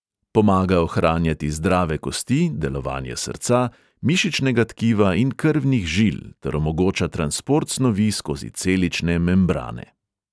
Pomaga ohranjati zdrave kosti, delovanje srca, mišičnega tkiva in krvnih žil ter omogoča transport snovi skozi celične membrane.